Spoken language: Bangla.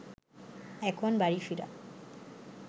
এখন বাড়ি ফিরে